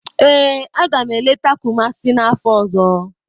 Ee, agam eleta Kumasi n'afọ ọzọ.